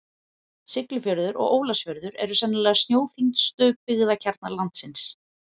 Siglufjörður og Ólafsfjörður eru sennilega snjóþyngstu byggðakjarnar landsins.